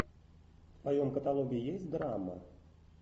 в твоем каталоге есть драма